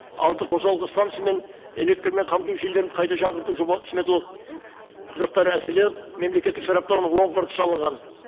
алты қосалқы станция мен электрмен қамту жүйелерін қайта жаңғырту жоба сметалық құжаттары әзірленіп мемлекеттік сараптауының оң қорытындысы алынған